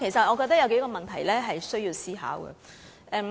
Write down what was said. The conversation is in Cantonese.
我覺得還有數個問題需要思考。